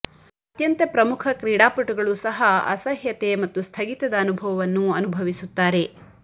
ಅತ್ಯಂತ ಪ್ರಮುಖ ಕ್ರೀಡಾಪಟುಗಳು ಸಹ ಅಸಹ್ಯತೆ ಮತ್ತು ಸ್ಥಗಿತದ ಅನುಭವವನ್ನು ಅನುಭವಿಸುತ್ತಾರೆ